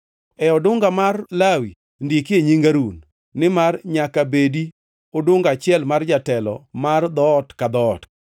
E odunga mar Lawi ndike nying Harun, nimar nyaka bedi odunga achiel mar jatelo mar dhoot ka dhoot.